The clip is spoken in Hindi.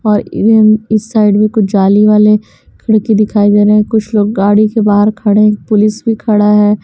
और इस साइड में कुछ जाली वाले खिड़की दिखाई दे रहें कुछ लोग गाड़ी के बाहर खड़े पुलिस भी खड़ा है।